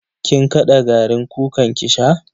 Kin kada garin kukan ki sha?